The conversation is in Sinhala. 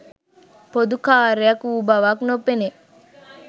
පොදු කාර්යයක් වූ බවක් නොපෙනේ.